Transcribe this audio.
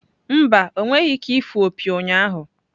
Mba, ọ nweghị ike ịfụ opi ụnyahụ.